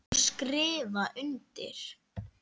Og skrifa undir.